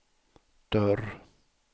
dörr